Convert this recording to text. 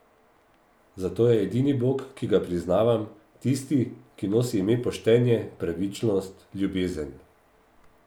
Zato je edini Bog, ki ga priznavam, tisti, ki nosi ime Poštenje, Pravičnost, Ljubezen.